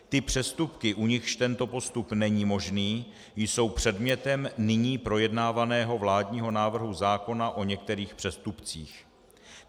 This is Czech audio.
Ty přestupky, u nichž tento postup není možný, jsou předmětem nyní projednávaného vládního návrhu zákona o některých přestupcích.